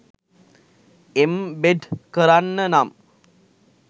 embed කරන්න නම්